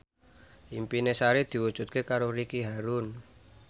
impine Sari diwujudke karo Ricky Harun